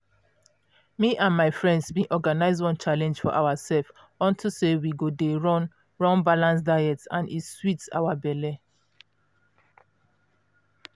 me and my friends bin organize one challenge for ourself unto say we go dey run run balanced diets and e sweet our belle.